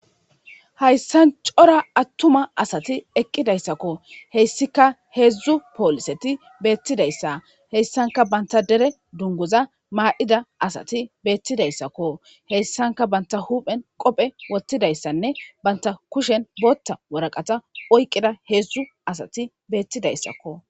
Haysan cora atuma asati eqidaysako , hesika hezdzdu poliset betidaysa , etika banta dere dunguza may'ida asati betidaysako , heysanka banta huphen qophe wothidaysanne banta kushen bootha waraqata oykida hezdzdu asati betidaysako.